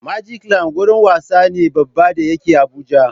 Magicland gurin wasa ne Baba da yake Abuja